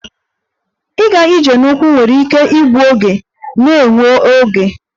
Ịga ije na ụkwụ nwere ike ịbụ oge na-ewe oge